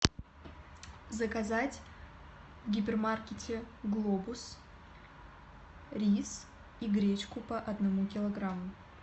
заказать в гипермаркете глобус рис и гречку по одному килограмму